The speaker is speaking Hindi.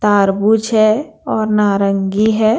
तारबूज है और नारंगी है।